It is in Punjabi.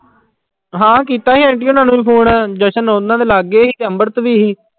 ਹਾਂ ਕੀਤਾ ਸੀ ਆਂਟੀ ਹੋਣਾਂ ਨੇ ਵੀ phone ਜਸ਼ਨ ਉਹਨਾਂ ਦੇ ਲਾਗੇ ਸੀ ਤੇ ਅੰਮ੍ਰਿਤ ਵੀ ਸੀ।